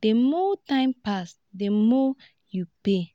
di more time pass di more you pay